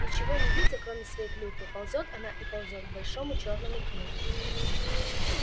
ничего не видя кроме своей клюквы ползёт она и ползёт к большому чёрному пню